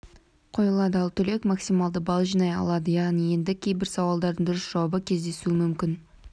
қойылады ал түлек максималды балл жинай алады яғни енді кейбір сауалдардың дұрыс жауабы кездесуі мүмкін